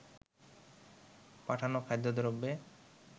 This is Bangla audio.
পাঠানো খাদ্যদ্রব্যে